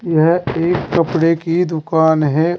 यह एक कपड़े की दुकान है।